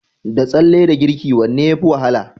Da tsalle da girki wanne yafi wahala?